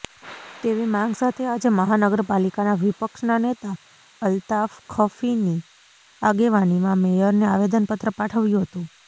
તેવી માંગ સાથે આજે મહાનગરપાલિકાના વિપક્ષના નેતા અલ્તાફ ખફીની આગેવાનીમાં મેયરને આવેદનપત્ર પાઠવ્યું હતું